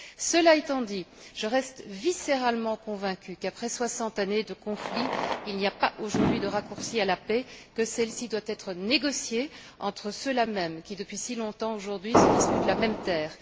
Cela étant dit, je reste viscéralement convaincue qu'après soixante années de conflit, il n'y a pas aujourd'hui de raccourci à la paix, que celle ci doit être négociée entre ceux là même qui, depuis si longtemps aujourd'hui, se disputent la même terre.